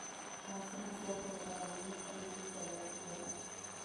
Macini cia kũgetha nĩinyihagia ihinda rĩa kũgetha